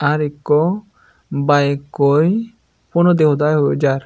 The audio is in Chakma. ar ikko bike koi phonodi hoda hoi hoi jai.